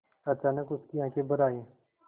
अचानक उसकी आँखें भर आईं